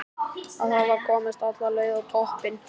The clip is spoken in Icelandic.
Að hafa komist alla leið á toppinn!